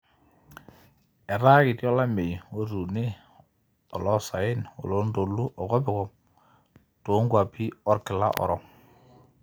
etaa ketii olameyu otuune oloosaen, oloontoluo, okopikop too nkuapi olkila orok